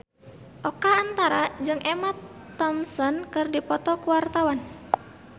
Oka Antara jeung Emma Thompson keur dipoto ku wartawan